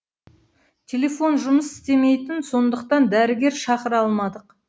телефон жұмыс істемейтін сондықтан дәрігер шақыра алмадық